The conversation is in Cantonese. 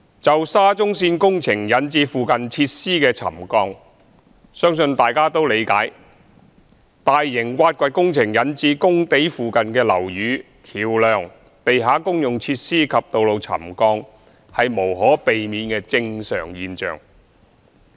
就沙中線工程引致附近設施的沉降，相信大家都理解，大型挖掘工程引致工地附近的樓宇、橋樑、地下公用設施及道路沉降是無可避免的正常現象。